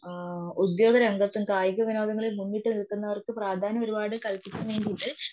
ആ ഉത്യോകരംഗത്തും കായികവിനോദങ്ങളിൽ മുന്നിട്ട് നിൽക്കുന്നവർക്ക് പ്രാധാന്യം ഒരുപാട്